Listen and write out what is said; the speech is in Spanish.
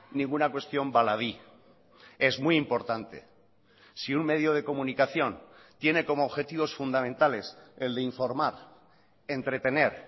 ninguna cuestión baladí es muy importante si un medio de comunicación tiene como objetivos fundamentales el de informar entretener